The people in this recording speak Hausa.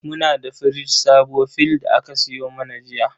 Muna da firji sabo fill da aka sayo mana jiya.